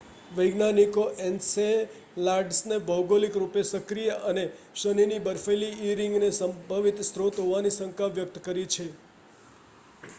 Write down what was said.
વૈજ્ઞાનિકો એન્સેલાડસને ભૌગોલિક રૂપે સક્રિય અને શનિની બર્ફીલી ઇ રીંગને સંભવિત સ્રોત હોવાની શંકા વ્યક્ત કરી છે